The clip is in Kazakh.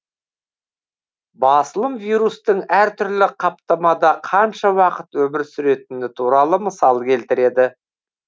басылым вирустың әртүрлі қаптамада қанша уақыт өмір сүретіні туралы мысал келтіреді